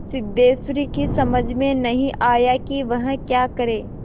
सिद्धेश्वरी की समझ में नहीं आया कि वह क्या करे